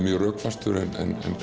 mjög rökfastur en